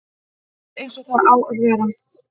Allt eins og það á að vera